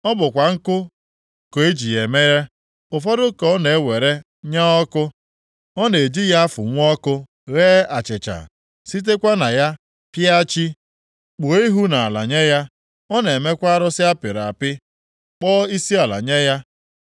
Ọ bụkwa nkụ ka eji ya e mere; ụfọdụ ka ọ na-ewere nya ọkụ, ọ na-eji ya afụnwu ọkụ ghee achịcha. Sitekwa na ya pịa chi, kpuo ihu nʼala nye ya; ọ na-emekwa arụsị apịrị apị, kpọọ isiala nye ya.